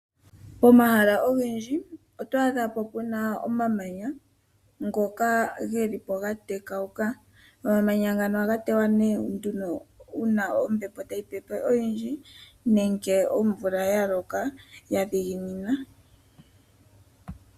Pomahala ogendji otwaadhapo puna omamanya ngoka gelipo ga tekauka. Omamanya ngano ohaga tewa nee nduno uuna ombepo tayi pepe oyindji nenge omvula ya loka ya dhiginina.